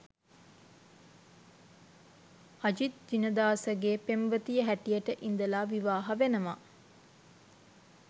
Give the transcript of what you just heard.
අජිත් ජිනදාසගේ පෙම්වතිය හැටියට ඉඳලා විවාහ වෙනවා